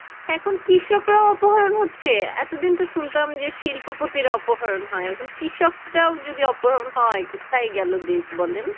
এখন কৃষকরাও অপহরণ হচ্ছে এতদিন তো শুনতাম যে শিল্পপতিরা অপহরণ হয় এখন কৃষকরাও যদি অপহরণ হয় কোথায় গেলো দেশ বলেন